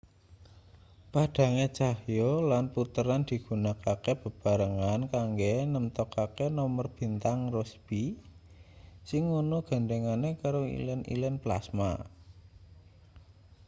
padhange cahya lan puteran digunakake bebarengan kanggo nemtokake nomer bintang rossby sing ana gandhengane karo ilen-ilen plasma